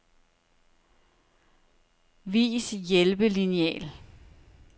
Vis hjælpelineal.